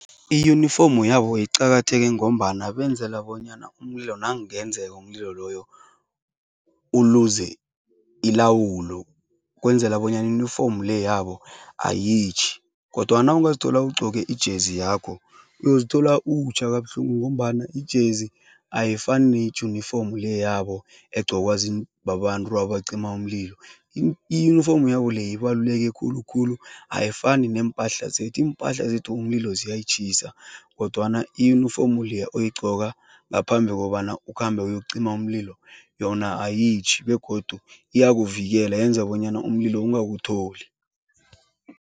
Iyunifomu yabo iqakatheke ngombana benzela bonyana umlilo nakungenzeka umlilo loyo uluze ilawulo kwenzela bonyana iyunifomu le yabo ayitjhi kodwana nawungazithola ugqoke ijezi yakho, uyozithola utjha kabuhlungu ngombana ijezi ayifani nejunifomu le yabo egqokwa babantu abacima umlilo. Iyunifomu yabo leya ibaluleke khulukhulu ayifani neempahla zethu. Iimpahla zethu umlilo ziyayitjhisa kodwana iyunifomu leya oyigqoka ngaphambi kobana ukhambe uyokucima umlilo, yona ayitjhi begodu iyakuvikela, yenza bonyana umlilo ungakutholi.